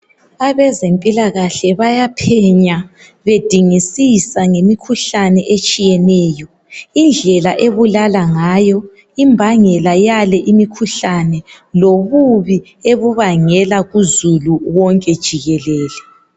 Abezempilakahle bayaphenya, bedingisisa ngemikhuhlane etshiyeneyo, indlela ebulala ngayo, imbangela yale imikhuhlane, lobubi ebubangela kuzulu onke jikelele.